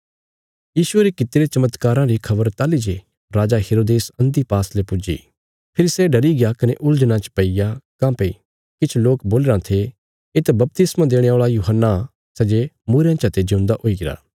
यीशुये रे कित्तिरे चमत्काराँ री खबर ताहली जे राजा हेरोदेस अन्तिपास ले पुज्जी फेरी सै डरिग्या कने उलझनां च पैईया काँह्भई किछ लोक बोलीराँ थे येत बपतिस्मा देणे औल़ा यूहन्ना सै जे मूईरेयां चते जिऊंदा हुईरा